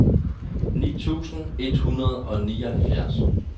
ni tusind et hundrede og nioghalvfjerds